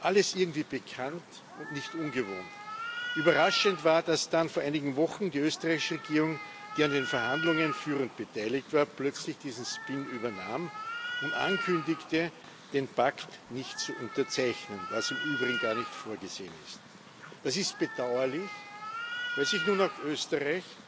Alles irgendwie bekannt und nicht ungewohnt. Überraschend war, dass dann vor einigen Wochen die österreichische Regierung, die an den Verhandlungen führend beteiligt war, plötzlich dieses spin übernahm und ankündigte, den Pakt nicht zu unterzeichnen, was im Übrigen gar nicht vorgesehen ist. Das ist bedauerlich, weil sich nun auch Österreich,